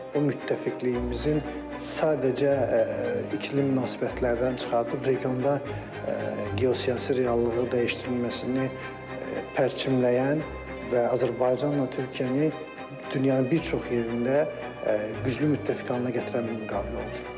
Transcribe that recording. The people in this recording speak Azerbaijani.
Bu müttəfiqliyimizin sadəcə ikili münasibətlərdən çıxardıb regionda geosiyasi reallığı dəyişdirilməsini pərçimləyən və Azərbaycanla Türkiyəni dünyanın bir çox yerində güclü müttəfiq halına gətirən bir müqavilə oldu.